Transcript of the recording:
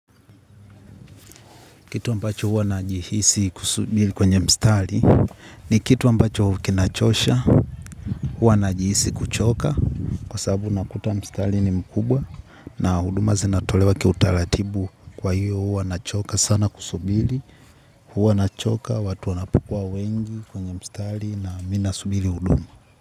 Kitu ambacho huwa najihisi kusubiri kwenye mstari ni kitu ambacho huwa kinachosha huwa najihisi kuchoka kwa sababu napata mstari ni mkubwa na huduma zinatolewa kiutaratibu kwa hiyo huwa nachoka sana kusubiri huwa nachoka watu wanapokua wengi kwenye mstari na mimi nasubiri huduma.